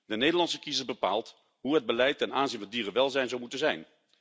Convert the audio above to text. De Nederlandse kiezer bepaalt hoe het beleid ten aanzien van dierenwelzijn zou moeten zijn.